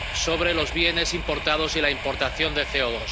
sobre los bienes importados y la importación de